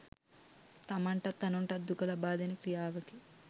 තමන්ටත් අනුන්ටත් දුක ලබාදෙන ක්‍රියාවකි.